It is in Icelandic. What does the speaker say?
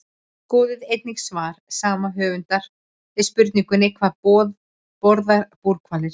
Skoðið einnig svar sama höfundur við spurningunni Hvað borða búrhvalir?